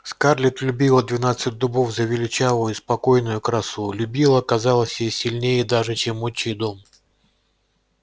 скарлетт любила двенадцать дубов за величавую спокойную красу любила казалось ей сильнее даже чем отчий дом